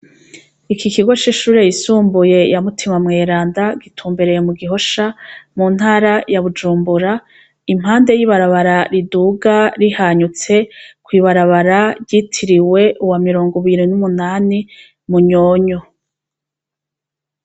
Iki kigo c'ishure yisumbuye ya Mutima Mweranda gitumbereye mu Gihosha mu ntara ya Bujumbura, impande y'ibarabara riduga rihanyutse kw'ibarabara ryitiriwe uwa mirongo ibiri n'umunani Munyonyo.